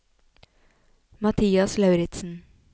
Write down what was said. Mathias Lauritsen